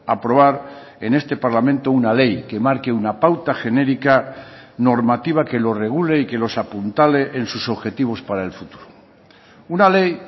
aprobar en este parlamento una ley que marque una pauta genérica normativa que lo regule y que los apuntale en sus objetivos para el futuro una ley